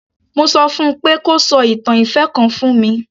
Mo sọ fún un pé kó sọ ìtàn ìfẹ́ kan fún mi.